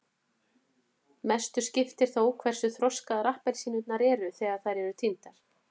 mestu skiptir þó hversu þroskaðar appelsínurnar eru þegar þær eru tíndar